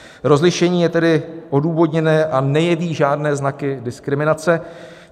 Rozlišení je tedy odůvodněné a nejeví žádné znaky diskriminace.